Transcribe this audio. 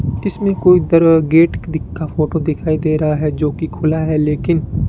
इसमें कोई तरह गेट दिखा फोटो दिखाई दे रहा है जोकि खुला है लेकिन--